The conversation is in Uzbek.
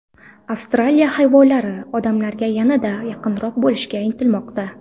Avstraliya hayvonlari odamlarga yanada yaqinroq bo‘lishga intilmoqda .